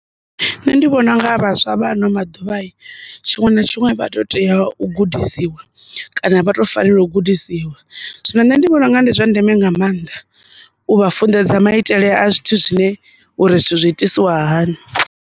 Nṋe ndi vhona unga vhaswa vha ano maḓuvha hi tshiṅwe na tshiṅwe vha to tea u gudisiwa kana vha to fanela u gudisiwa, zwino nṋe ndi vhona unga ndi zwa ndeme nga mannḓa u vha funḓedza maitele a zwithu zwine uri zwithu zwi itisiwa hani.